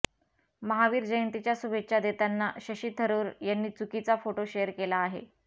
महावीर जयंतीच्या शुभेच्छा देताना शशी थरुर यांनी चुकीचा फोटो शेअर केला आहे